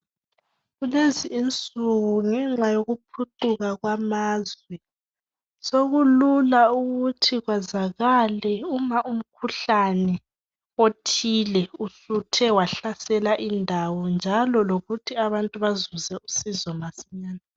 Kulezi insuku ngenxa yokuphucuka kwamazwe sokulula ukuthi kwazakale uma umkhuhlane othile usuthe wahlasela indawo njalo lokuthi abantu bazuze usizo masinyane.